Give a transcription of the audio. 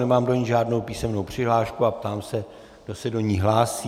Nemám do ní žádnou písemnou přihlášku a ptám se, kdo se do ní hlásí.